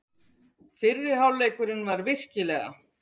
Fyrri hálfleikurinn var virkilega.